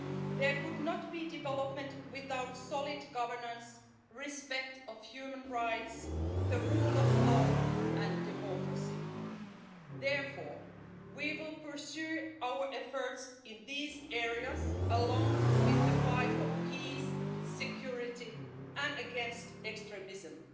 There cannot be development without solid governance, respect for human rights, the rule of law and democracy. Therefore, we will pursue our efforts in these areas, along with the fight for peace and security, and against extremism.